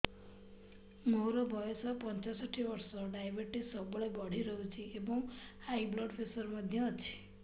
ମୋର ବୟସ ପଞ୍ଚଷଠି ବର୍ଷ ଡାଏବେଟିସ ସବୁବେଳେ ବଢି ରହୁଛି ଏବଂ ହାଇ ବ୍ଲଡ଼ ପ୍ରେସର ମଧ୍ୟ ଅଛି